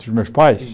dos meus pais?